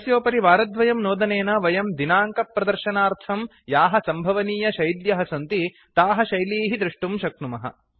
तस्योपरि वारद्वयं नोदनेन वयं दिनाङ्क प्रदर्शनार्थं याः सम्भवनीय शैल्यः सन्ति ताः शैलीः दृष्टुं शक्नुमः